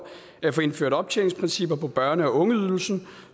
at få indført optjeningsprincipper for børne og ungeydelsen